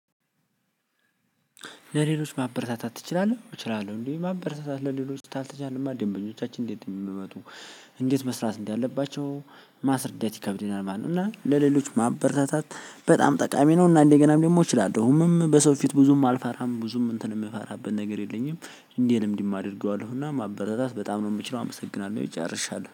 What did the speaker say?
ለሌሎች ማበረታታት ትችላለህ? እችላለሁ። እንዴ ማበረታታት ለሌሎች ካልተቻለማ ደንበኞቻችን እንዴት ነው የምመጡ። እንዴት መስራት እንዳለባቸው ማስረዳት ይከብደናል ማለት ነው። እና ለሌሎች ማበረታታት በጣም ጠቃሚ ነው። እና እንደገናም ደግሞ እችላለሁ። እኔም በሰው ፊት ብዙም አልፈራም ብዙም እንትን የምፈራበት ነገር የለኝም እንዲህ እንዲህ አደርገዋለሁ እና ማበረታታት በጣም ነው የምችለው አመሰግናለሁ። ጨርሻለሁ።